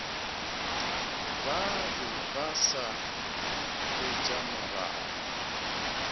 ba be ba sa hwetšamoraba